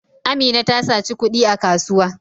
Amina ta saci kudi a kasuwa.